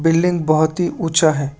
Building बहोत ही ऊंचा है।